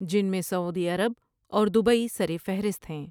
جن میں Saudi Arab اور دبئی سرفہرست ہیں ۔